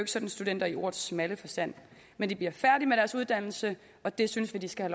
sådan studenter i ordets smalle forstand men de bliver færdige med deres uddannelse og det synes vi de skal